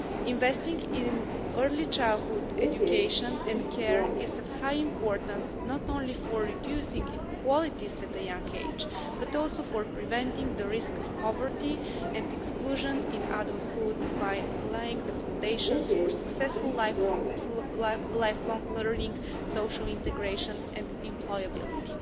Investing in early childhood education and care is of high importance, not only for reducing inequalities at a young age, but also for preventing the risk of poverty and exclusion in adulthood by laying the foundations for successful lifelong learning, social integration and employability.